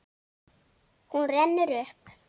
Hún rennur upp.